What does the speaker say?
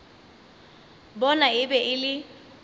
bona e be e le